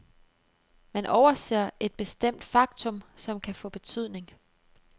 Man overser et bestemt faktum, som kan få betydning.